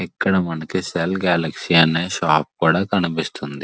ఇక్కడ మనకి cell galaxy అనే షాప్ కూడా కనిపిస్తుంది.